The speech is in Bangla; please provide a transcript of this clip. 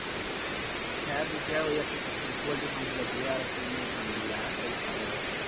হ্যাঁ দুইটা ওই একটো হচ্ছে পোল্টির farm খুলেছি আর একটো হলো মুর ইয়ার ওই ছাগলের